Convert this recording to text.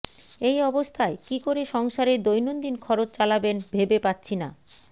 এই অবস্থায় কি করে সংসারের দৈনন্দিন খরচ চালাবেন ভেবে পাচ্ছি না